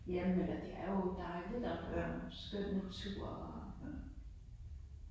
Ja men eller det er jo dejligt og der jo skøn natur og